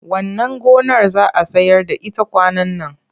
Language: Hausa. Wannan gonar za a sayar da ita kwanan nan.